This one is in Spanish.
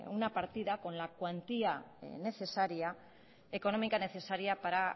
una partida con la cuantía económica necesaria para